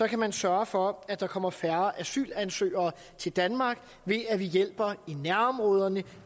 kan man sørge for at der kommer færre asylansøgere til danmark ved at vi hjælper i nærområderne